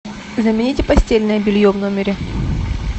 замените постельное белье в номере